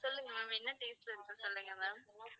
சொல்லுங்க ma'am என்ன taste ல இருக்கு சொல்லுங்க ma'am